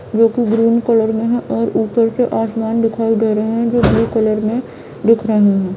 ये कुछ green colour में है और ऊपर से आसमान दिखाई दे रहे है जो ब्लू कलर में दिख रहे है।